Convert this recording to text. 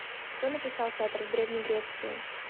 кто написал театр в древней греции